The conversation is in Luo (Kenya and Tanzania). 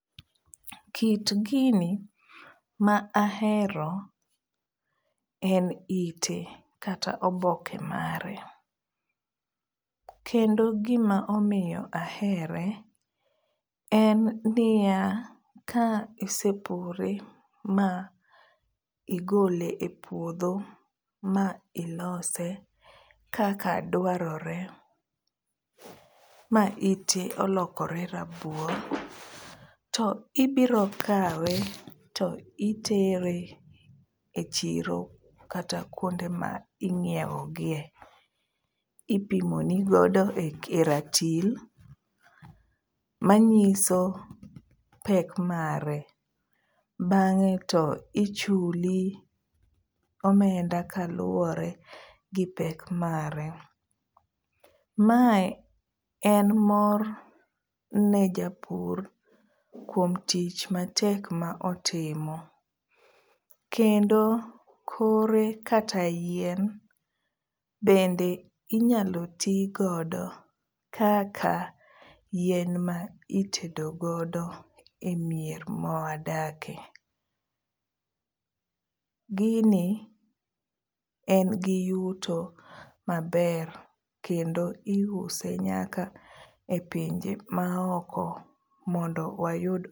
Kit gini ma ahero en ite kata oboke mare. Kendo gima omiyo ahere en niya, ka isepure ma igole e puodho ma ilose kaka dwarore ma ite olokore rabuor to ibiro kawe to itere e chiro kata kuonde ma ing'iewo gie . Ipimo no godo e ratil manyiso pek mare, bang'e to ichuli omenda kaluwore gi pek mare. Mae en mor ne japur kuom tich matek ma otimo kendo kore kata yien bende inyalo tigodo kaka yien ma itedo godo e mier ma wadakie. Gini en gi yuto maber kendo iuse nyaka e pinje ma oko mondo wayud